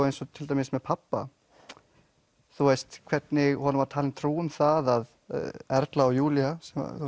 eins og til dæmis með pabba hvernig honum var talið trú um það að Erla og Júlía